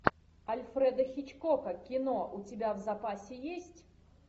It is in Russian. альфреда хичкока кино у тебя в запасе есть